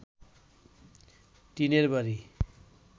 টিনের বাড়ি